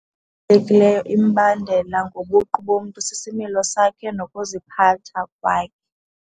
Ebalulekileyo imibandela ngobuqu bomntu sisimilo sakhe nokuziphatha kwakhe.